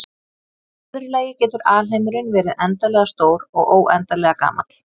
Í öðru lagi getur alheimurinn verið endanlega stór og óendanlega gamall.